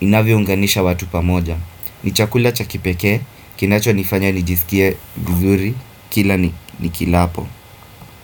inavyounganisha watu pa moja. Ni chakula cha kipeke, kinacho nifanya nijisikie gudhuri, kila ni kilapo.